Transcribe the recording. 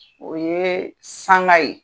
O ye sanga ye.